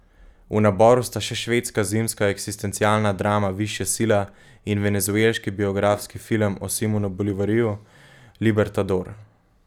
V naboru sta še švedska zimska eksistencialna drama Višja sila in venezuelski biografski film o Simonu Bolivarju, Libertador.